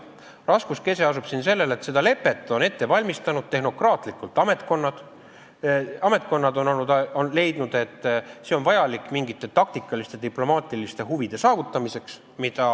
Raskuskese asub siin, et seda lepet on tehnokraatlikult ette valmistanud ametkonnad, ametkonnad on leidnud, et see on vajalik mingite taktikaliste diplomaatiliste huvide jaoks.